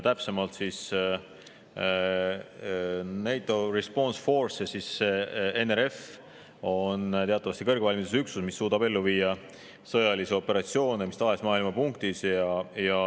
Täpsemalt, NATO Response Force ehk NRF on teatavasti kõrgvalmiduses üksus, mis suudab ellu viia sõjalisi operatsioone mis tahes maailma punktis.